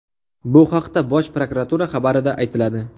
Bu haqda Bosh prokuratura xabarida aytiladi .